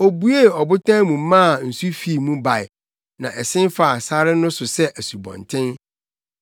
Obuee ɔbotan mu maa nsu fii mu bae; na ɛsen faa sare no so sɛ asubɔnten.